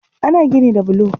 Ana gini da bulo